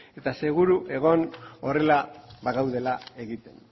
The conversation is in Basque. eta seguru egon horrela bagaudela egiten